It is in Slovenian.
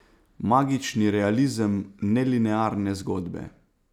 Magični realizem nelinearne zgodbe.